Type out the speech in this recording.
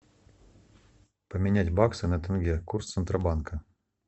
поменять баксы на тенге курс центробанка